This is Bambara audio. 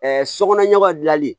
sokɔnɔ ɲɛgɔ dilanli